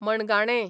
मणगाणें